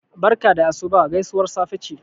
barka da asuba gaisuwar safe ce